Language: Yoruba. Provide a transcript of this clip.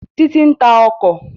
Títí ń ta ọkọ̀